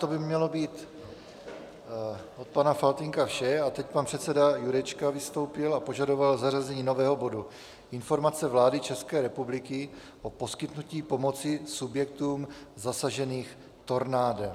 To by mělo být od pana Faltýnka vše a teď pan předseda Jurečka - vystoupil a požadoval zařazení nového bodu Informace vlády České republiky o poskytnutí pomoci subjektům zasaženým tornádem.